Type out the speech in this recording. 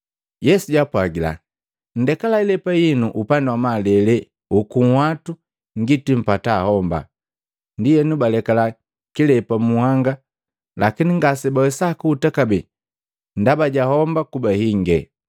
Yesu jaapwagila, “Nndekala ilepa hinu upandi wa malele uku nhwatu ngiti mpata homba.” Ndienu balekala kilepa mu nhanga lakini ngasebawesa kuhuta kabee ndaba ja homba kuba hinge.